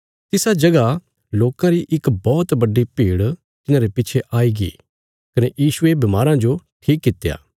तिसा जगह लोकां री इक बौहत बड्डी भीड़ तिन्हांरे पिच्छे आईगी कने यीशुये बीमारां जो ठीक कित्या